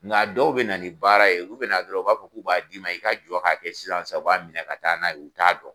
Nga dɔw bɛ na ni baara ye ulu bɛ na dɔrɔn u b'a fɔ k'u b'a d'i i ka jɔ k'a kɛ sisan u b'a minɛ ka taa n'a y'u t'a dɔn.